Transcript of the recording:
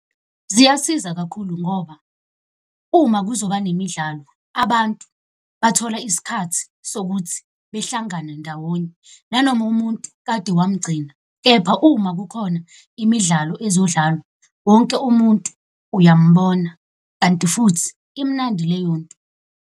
Ziyasiza kakhulu ngoba uma kuzoba nemidlalo abantu bathola isikhathi sokuthi behlangana ndawonye, nanoma umuntu kade wamugcina. Kepha uma kukhona imidlalo ezodlalwa, wonke umuntu uyambona. Kanti futhi imnandi leyo nto.